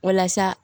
Walasa